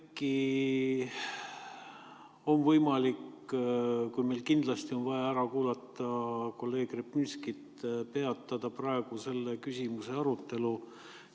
Äkki on võimalik, kui meil on kindlasti vaja kolleeg Repinski ära kuulata, peatada praegu selle küsimuse arutelu?